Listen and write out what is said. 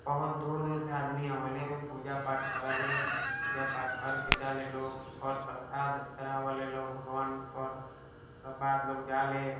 बहुत दूर-दूर से आदमी आवेला एमे पूजा पाठ करेले पूजा पाठ करके जाले लोग पर प्रसाद चढ़ावेला लोग भगवान पर सब बाद लोग जाले।